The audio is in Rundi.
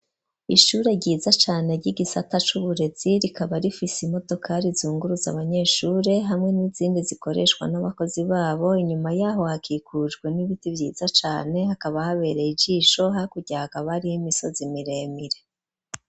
Ishure ryiza cane ry'igisata c'uburezi rikaba rifise imodokari zunguruza abanyeshure hamwe n'izindi zikoreshwa n'abakozi babo, inyuma y'aho hakikujwe n'ibiti vyiza cane, hakaba habereye ijisho, hakurya hakaba hariho imisozi miremire.